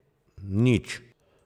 Nič!